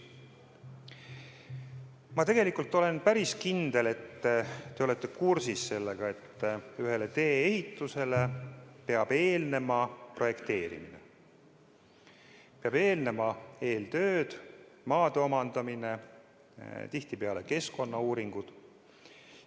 Ma olen päris kindel, et te olete kursis sellega, et tee-ehitusele peab eelnema projekteerimine, peavad eelnema eeltöö, maade omandamine, tihtipeale keskkonnauuringud.